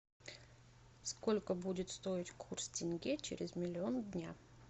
сколько будет стоить курс тенге через миллион дня